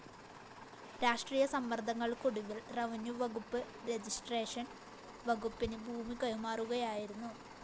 രാഷ്ര്ടീയ സമ്മര്‍ങ്ങള്‍ക്കൊടുവില്‍ റെവന്യൂ വകുപ്പ് രജിസ്ട്രേഷൻ വകുപ്പിന് ഭൂമി കൈമാറുകയായിരുന്നു